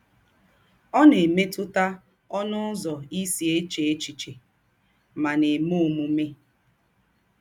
Ó na - èmétụ̀tà ǒnụ̀ ụzọ̀ ì sì èchē èchíchè mà na - èmè ǒmùmè.